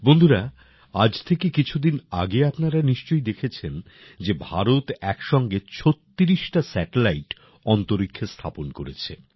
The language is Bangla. বন্ধুরা আজ থেকে কিছু দিন আগে আপনারা নিশ্চয়ই দেখেছেন যে ভারত এক সঙ্গে ছত্রিশটা স্যাটেলাইট অন্তরীক্ষে স্থাপন করেছে